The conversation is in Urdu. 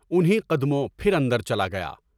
انھیں قد موں پھراندر چلا گیا۔